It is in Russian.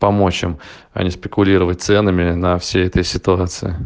помочь им а не спекулировать ценами на всей этой ситуации